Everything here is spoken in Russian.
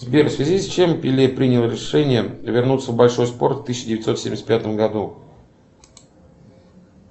сбер в связи с чем пеле принял решение вернуться в большой спорт в тысяча девятьсот семьдесят пятом году